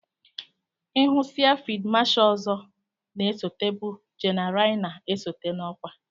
Ihusiá fid Masha ọzọ na esote bụ jeneralna esote n'okwa.